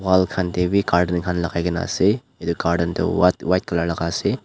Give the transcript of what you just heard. wall khan tae bi curtain khan lakaikaena ase edu curtain toh white colour laka ase.